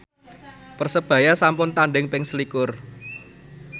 Persebaya sampun tandhing ping selikur